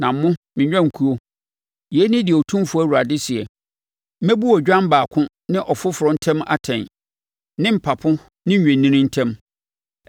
“ ‘Na mo, me nnwankuo, yei ne deɛ Otumfoɔ Awurade seɛ: Mɛbu odwan baako ne ɔfoforɔ ntam atɛn ne mpapo ne nnwennini ntam.